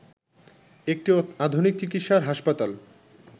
একটি আধুনিক চিকিৎসার হাসপাতাল